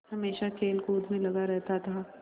हमेशा खेलकूद में लगा रहता था